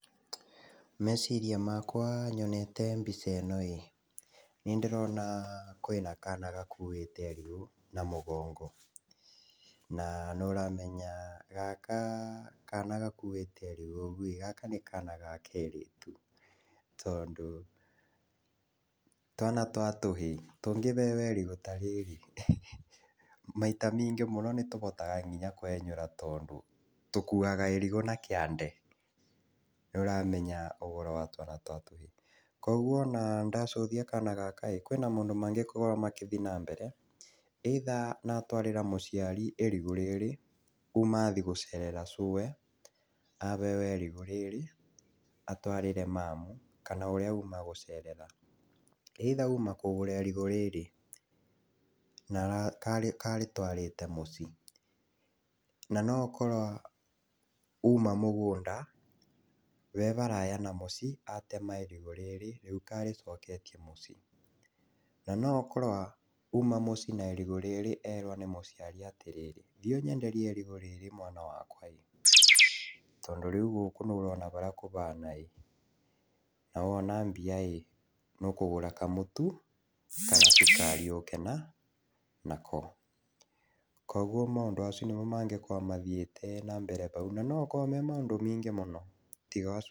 Meciria makwa nyonete mbica ĩyo ĩ nĩndĩrona kwĩna kana gakuĩte irigũ na mũgongo. Na nĩ ũramenya kana gakuĩte irigu ũguo nĩ kana ga kairĩtu tondũ twana twa kahĩĩ tũngĩbebe irigũ ta rĩrĩ maita maingĩ mũno nginya nĩ tũhotaga kwenyũra tondũ tũkuaga irigũ na kĩande nĩũramenya ũhoro wa twana twa tũhĩĩ. Koguo ona ndacuthia kana gaka kwĩna maũndũ maingĩ mangĩkorwo magĩthiĩ na mbere either gatwarĩre mũciari irigũ rĩrĩ kuma athiĩ gũcerera cuwe aheo irigũ rĩrĩ atwarĩre mamu kana ũrĩa auma gũcerera. Either auma kũgũra irigũ rĩrĩ na nĩ karĩtwarĩte mũciĩ na no akorwo auma mũgũnda wĩ haraya na mũciĩ atema irigũ rĩrĩ rĩu karĩcoketie mũciĩ. Na no akorwo auma mũciĩ na irigũ rĩrĩ erwo nĩ mũciari atĩrĩ thiĩ ũnyenderie irigũ rĩrĩ mwana wakwa tondũ rĩu gũkũ nĩwona ũrĩa kũhana na wona mbia nĩũkũgũra kamũtu kana cukari ũke nako. Koguo mau nĩmo maũndũ marĩa mangĩkorwo mathiĩte na mbere hau na no makorwo marĩ maũndũ maingĩ tiga ũcio.